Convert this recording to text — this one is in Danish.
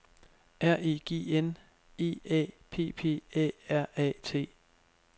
R E G N E A P P A R A T